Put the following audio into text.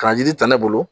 K'a jiri ta ne bolo